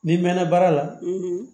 N'i mɛn na baara la